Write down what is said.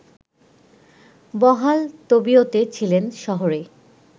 বহাল তবিয়তে ছিলেন শহরে